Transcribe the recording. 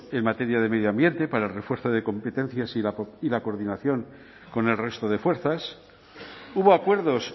en materia de medio ambiente para el refuerzo de competencias y la coordinación con el resto de fuerzas hubo acuerdos